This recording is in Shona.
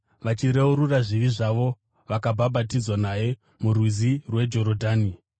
Vachireurura zvivi zvavo vakabhabhatidzwa naye murwizi rweJorodhani.